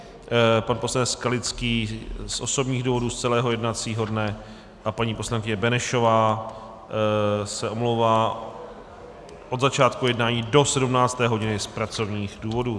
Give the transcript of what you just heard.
Pan poslanec Skalický z osobních důvodů z celého jednacího dne a paní poslankyně Benešová se omlouvá od začátku jednání do 17. hodiny z pracovních důvodů.